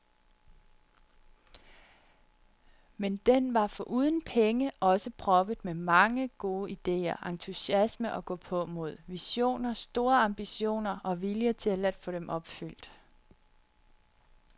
Men den var foruden penge også proppet med mange, gode idéer, entusiasme og gåpåmod, visioner, store ambitioner og vilje til at få dem opfyldt.